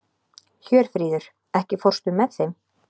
Hjörfríður, ekki fórstu með þeim?